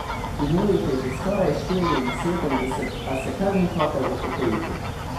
Imel jih je že skoraj štiriinsedemdeset, a se kar ni hotel upokojiti.